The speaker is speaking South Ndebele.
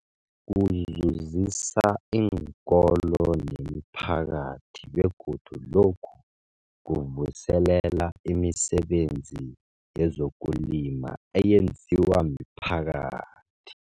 Kuzuzisa iinkolo nemiphakathi begodu lokhu kuvuselela imisebenzi yezokulima eyenziwa miphakathi.